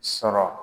Sɔrɔ